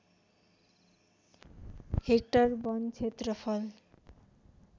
hectare वन क्षेत्रफल